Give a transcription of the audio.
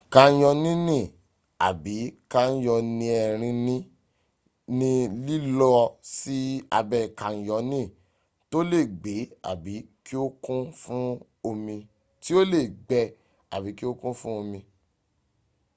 kanyonini abi: kanyonierini ni lilo si abe canyoni to le gbe abi ki o kun fun omi